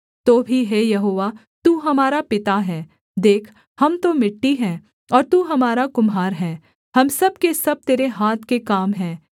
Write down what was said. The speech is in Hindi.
तो भी हे यहोवा तू हमारा पिता है देख हम तो मिट्टी है और तू हमारा कुम्हार है हम सब के सब तेरे हाथ के काम हैं